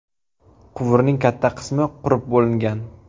Quvurning katta qismi qurib bo‘lingan.